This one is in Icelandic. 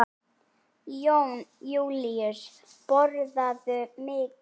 Jón Júlíus: Borðarðu mikið?